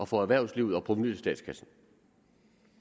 for erhvervslivet og provenuet til statskassen